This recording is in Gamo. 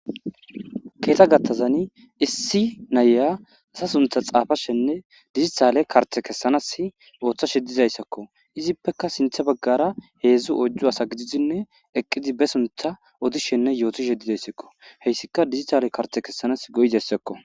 Keeta gattazani issi nayya asa suntha xaafashenne dizitale karte kessanas ooththashedizayssakko izippeka sinthe baggara heedzdzu ojju asa gididinne eqqidi be suntha odishenne yootisheddidayssakko heyssika digitale karte kessanas goyidayssakko.